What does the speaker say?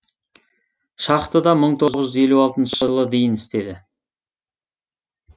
шахтада мың тоғыз жүз елу алтыншы жылы дейін істеді